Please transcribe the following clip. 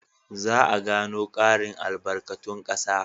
Za a gano ƙarin albarkatun ƙasa.